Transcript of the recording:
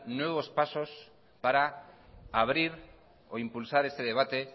nuevos pasos para abrir o impulsar este debate